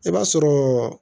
I b'a sɔrɔ